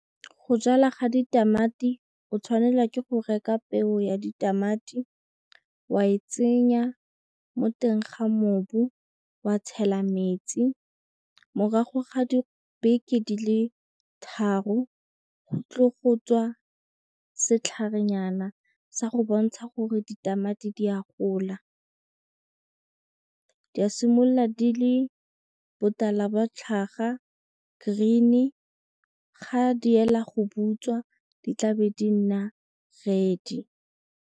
Go jala ga ditamati o tshwanela ke go reka peo ya ditamati, wa e tsenya mo teng ga mobu, wa tshela metsi morago ga dibeke di le tharo go tlo go tswa setlharenyana sa go bontsha gore ditamati di a gola. Di a simolola di le botala bo tlhaga green-e ga di ela go butswa di tlabe di nna red.